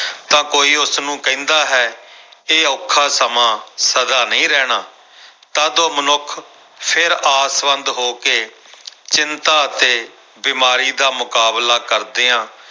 ਤਾਂ ਕੋਈ ਉਸਨੂੰ ਕਹਿੰਦਾ ਹੈ ਇਹ ਔਖਾ ਸਮਾਂ ਸਦਾ ਨਹੀਂ ਰਹਿਣਾ ਤਦ ਉਹ ਮਨੁੱਖ ਫਿਰ ਆਸਵੰਦ ਹੋ ਕੇ ਚਿੰਤਾ ਅਤੇ ਬਿਮਾਰੀ ਦਾ ਮੁਕਾਬਲਾ ਕਰਦਿਆਂ